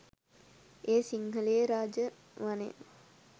එය සිංහලයේ රාජ වනය